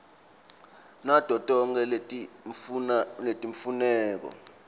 nato tonkhe letimfuneko